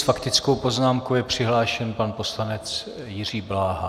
S faktickou poznámkou je přihlášen pan poslanec Jiří Bláha.